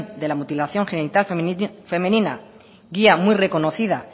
de la mutilación genital femenina guía muy reconocida